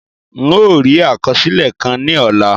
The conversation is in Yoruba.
N ó rí àkọsílẹ̀ kà ní ọ̀la